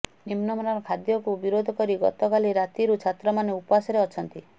ନିମ୍ନମାନର ଖାଦ୍ୟକୁ ବିରୋଧ କରି ଗତକାଲି ରାତିରୁ ଛାତ୍ରମାନେ ଉପାସରେ ଅଛନ୍ତି